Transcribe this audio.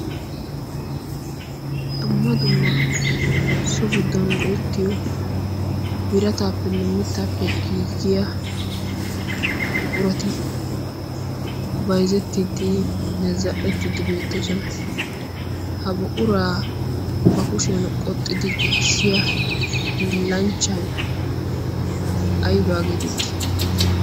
dumma dumma so giddon goyettiyo birataappenne mittaappe giiggiya guqurati baizzettiiddi ne zal'dhettiiddi beettoosona. ha buquraa ba kushiyan qoxxidi giigissiya hillanchchai aybaa geetetti?